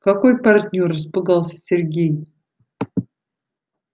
какой партнёр испугался сергей